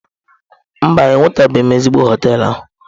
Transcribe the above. Mba, enwetabeghị m ezigbo hoteelu.